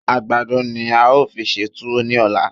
Àgbàdo ni a ó fi ṣe túwó ní ọ̀la.